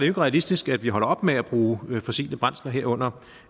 ikke realistisk at vi holder op med at bruge fossile brændsler herunder